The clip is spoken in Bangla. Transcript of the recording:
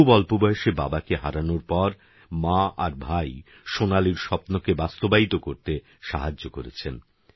খুবঅল্পবয়সেবাবাকেহারানোরপরমাআরভাইসোনালীরস্বপ্নকেবাস্তবায়িতকরতেসাহায্যকরেছেন